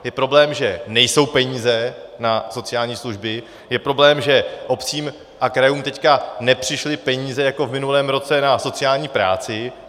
Je problém, že nejsou peníze na sociální služby, je problém, že obcím a krajům teď nepřišly peníze jako v minulém roce na sociální práci.